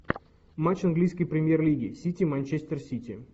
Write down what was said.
матч английской премьер лиги сити манчестер сити